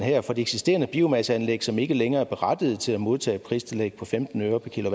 eksisterende biomasseanlæg som ikke længere er berettigede til at modtage pristillægget på femten øre per